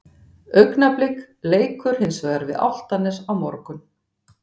Augnablik leikur hins vegar við Álftanes á morgun.